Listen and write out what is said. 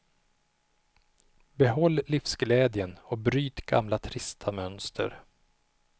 Behåll livsglädjen och bryt gamla trista mönster.